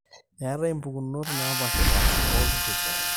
eetai impukunot naapaashipaasha oolturrurri